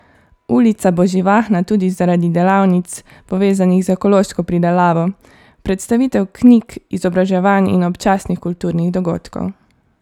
Ulica bo živahna tudi zaradi delavnic, povezanih z ekološko pridelavo, predstavitev knjig, izobraževanj in občasnih kulturnih dogodkov.